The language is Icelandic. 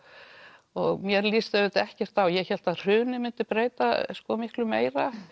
og mér lýst auðvitað ekkert á ég hélt að hrunið myndi breyta miklu meira